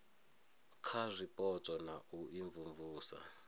kha zwipotso na u imvumvusa